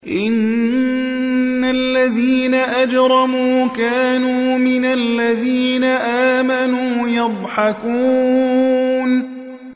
إِنَّ الَّذِينَ أَجْرَمُوا كَانُوا مِنَ الَّذِينَ آمَنُوا يَضْحَكُونَ